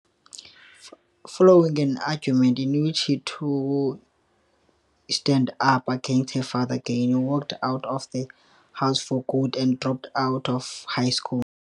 Following an argument in which he stand up against his father, Gaye walked out of the house for good and dropped out of high school.